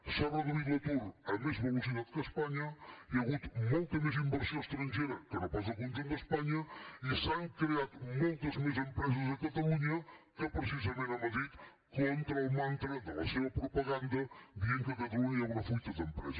s’ha reduït l’atur amb més velocitat que a espanya hi ha hagut molta més inversió estrangera que no pas al conjunt d’espanya i s’han creat moltes més empreses a catalunya que precisament a madrid contra el mantra de la seva propaganda que diu que a catalunya hi ha una fuita d’empreses